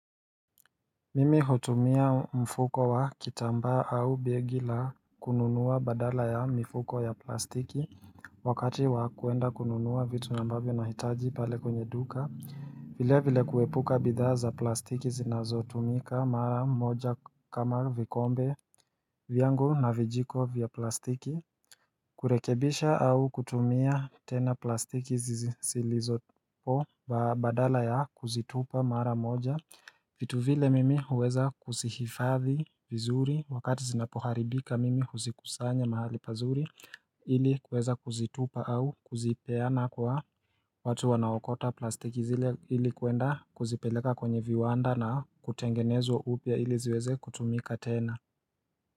Mimi hutumia mfuko wa kitambaa au begi la kununua badala ya mifuko ya plastiki. Wakati wa kuenda kununua vitu ambavyo nahitaji pale kwenye duka vile vile kuepuka bidhaa za plastiki zinazotumika mara moja kama vikombe vyangu na vijiko vya plastiki kurekebisha au kutumia tena plastiki zilizopo badala ya kuzitupa mara moja vitu vile mimi huweza kuzihifadhi vizuri wakati zinapoharibika mimi huzikusanya mahali pazuri ili kuweza kuzitupa au kuzipeana kwa watu wanaokota plastiki zile ili kuenda kuzipeleka kwenye viwanda na kutengenezwa upya ili ziweze kutumika tena.